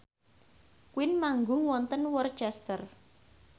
Queen manggung wonten Worcester